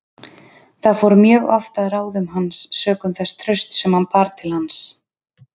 Það fór mjög oft að ráðum hans sökum þess trausts sem það bar til hans.